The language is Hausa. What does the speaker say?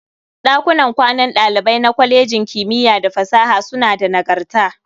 Ɗakunan kwanan ɗalibai na kwalejin kimiyya da fasaha suna da nagarta.